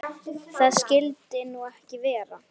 Það skyldi nú ekki vera?